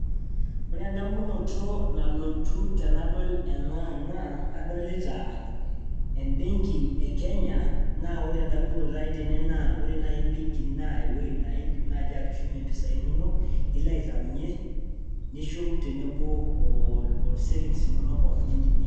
Wore endamunoto nalotu tenadol ena naa kadolita embenki e Kenya naa wore endamunoto ai tene naa wore naai ebenki naa ewoji niidim atushumie impisai inonok, nilo aitaunyie, nishum tenebo o savings inonok pookin